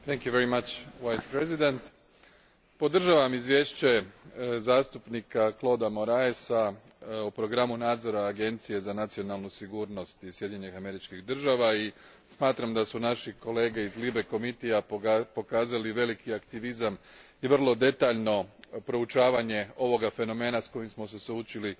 Gospodine potpredsjedniče, podržavam izvješće zastupnika Claudea Moraesa o programu nadzora Agencije za nacionalnu sigurnost iz Sjedinjenih Američkih Država i smatram da su naši kolege iz Odbora LIBE pokazali veliki aktivizam i vrlo detaljno proučavanje ovog fenomena s kojim smo se suočili